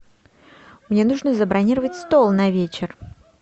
мне нужно забронировать стол на вечер